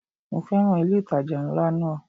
Mo féràn ilé ìtajà ńlá náà.